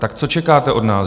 Tak co čekáte od nás?